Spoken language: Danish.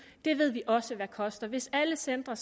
det ved vi også hvad koster hvis alle centre